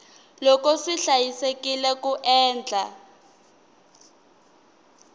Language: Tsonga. loko swi hlayisekile ku endla